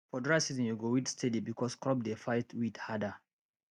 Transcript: for dry season you go weed steady because crop dey fight weed harder